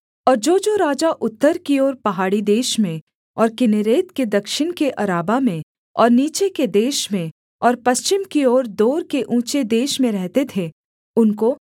और जोजो राजा उत्तर की ओर पहाड़ी देश में और किन्नेरेत के दक्षिण के अराबा में और नीचे के देश में और पश्चिम की ओर दोर के ऊँचे देश में रहते थे उनको